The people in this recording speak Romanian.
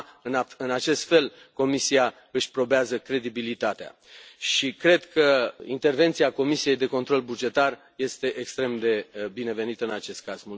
Numai în acest fel Comisia își probează credibilitatea și cred că intervenția Comisiei pentru control bugetar este extrem de binevenită în acest caz.